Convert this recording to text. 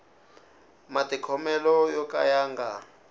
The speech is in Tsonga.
matikhomelo yo ka ya nga